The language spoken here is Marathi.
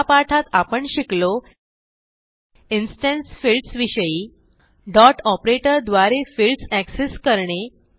या पाठात आपण शिकलो इन्स्टन्स फील्ड्स विषयी डॉट ऑपरेटर द्वारे फिल्डस एक्सेस करणे